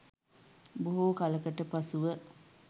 බොහෝ කලකට පසුව